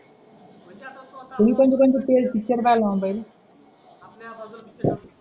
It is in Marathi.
त्यांनी त्यांचं त्यांचं पेड पिक्चर काढला ना पहिले